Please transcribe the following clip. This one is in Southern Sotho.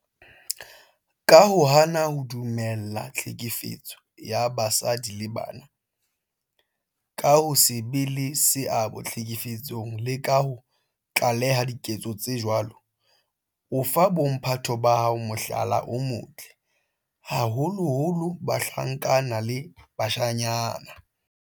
Ka ho hana ho dumella tlhekefetso ya basadi le bana, ka ho se be le seabo tlhekefetsong le ka ho tlaleha diketso tse jwalo, o fa bo mphato ba hao mohlala o motle, haholoholo bahlankana le bashanyana.